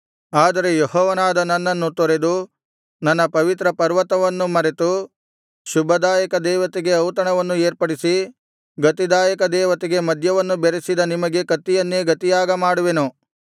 ಆದರೆ ಯೆಹೋವನಾದ ನನ್ನನ್ನು ತೊರೆದು ನನ್ನ ಪವಿತ್ರ ಪರ್ವತವನ್ನು ಮರೆತು ಶುಭದಾಯಕ ದೇವತೆಗೆ ಔತಣವನ್ನು ಏರ್ಪಡಿಸಿ ಗತಿದಾಯಕ ದೇವತೆಗೆ ಮದ್ಯವನ್ನು ಬೆರಸಿದ ನಿಮಗೆ ಕತ್ತಿಯನ್ನೇ ಗತಿಯಾಗ ಮಾಡುವೆನು